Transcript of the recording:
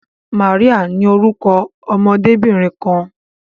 Maria ní orúkọ ọmọdebinrin kan.